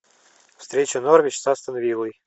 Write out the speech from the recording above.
встреча норвич с астон виллой